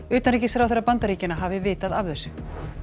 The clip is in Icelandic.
utanríkisráðherra Bandaríkjanna hafi vitað af þessu